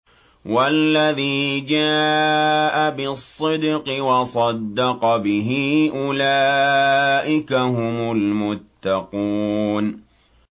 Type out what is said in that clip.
وَالَّذِي جَاءَ بِالصِّدْقِ وَصَدَّقَ بِهِ ۙ أُولَٰئِكَ هُمُ الْمُتَّقُونَ